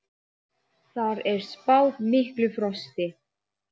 Þar er spáð miklu frosti.